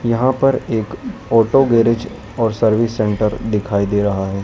यहां पर एक ऑटो गैरेज और सर्विस सेंटर दिखाई दे रहा है।